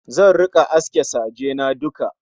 Zan rika aske saje na duka